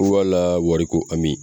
Wala wari ko amin.